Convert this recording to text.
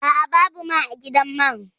A'a, babu mai a gidan man